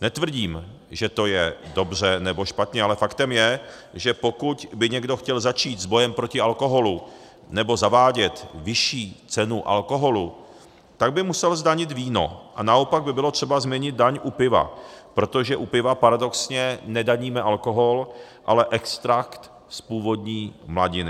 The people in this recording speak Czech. Netvrdím, že to je dobře, nebo špatně, ale faktem je, že pokud by někdo chtěl začít s bojem proti alkoholu, nebo zavádět vyšší cenu alkoholu, tak by musel zdanit víno, a naopak by bylo třeba změnit daň u piva, protože u piva paradoxně nedaníme alkohol, ale extrakt z původní mladiny.